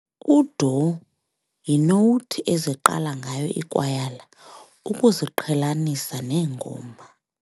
U-doh yinowuthi eziqala ngayo iikwayala ukuziqhelanisa neengoma.